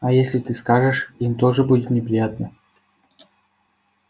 а если ты скажешь им тоже будет неприятно